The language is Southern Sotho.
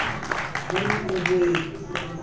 ho na le ho e